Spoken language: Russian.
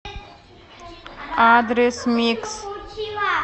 адрес микс